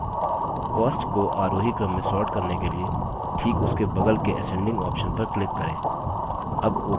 cost को आरोही क्रम में sort करने के लिए ठीक उसके बगल के ascending option पर click करें